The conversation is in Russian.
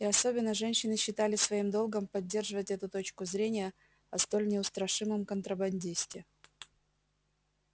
и особенно женщины считали своим долгом поддерживать эту точку зрения о столь неустрашимом контрабандисте